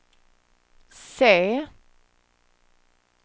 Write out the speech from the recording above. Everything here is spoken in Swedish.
se